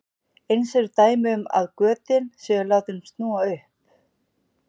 Eins eru dæmi um að götin séu látin snúa upp.